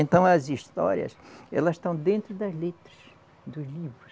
Então, as histórias, elas estão dentro das letras dos livros.